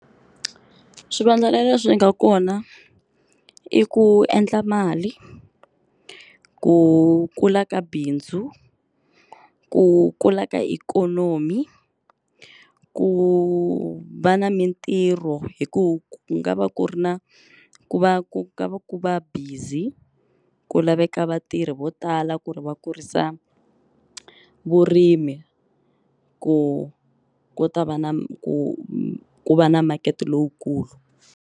Swivandlanene leswi nga kona i ku endla mali, ku kula ka bindzu, ku kula ka ikhonomi ku va na mintirho hi ku ku nga va ku ri na ku va ku nga va ku va busy ku laveka vatirhi vo tala ku ri va kurisa vurimi ku ku ta va na ku ku va na makete lowukulu.